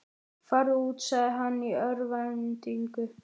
Farðu út, sagði hann í örvæntingu.